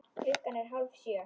Klukkan er hálf sjö.